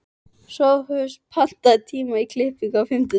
Sophus, pantaðu tíma í klippingu á fimmtudaginn.